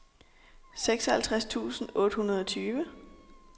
seksoghalvtreds tusind otte hundrede og tyve